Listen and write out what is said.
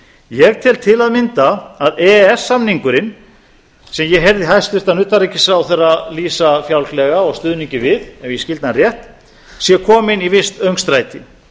ég tel til að mynda að e e s samningurinn sem ég heyrði hæstvirtan utanríkisráðherra lýsa fjálglega og stuðningi við ef ég skildi hann rétt sé kominn í visst öngstræti